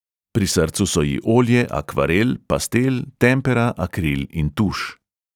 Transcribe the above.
Pri srcu so ji olje, akvarel, pastel, tempera, akril in tuš.